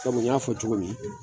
Kɔmi n y'a fɔ cogo min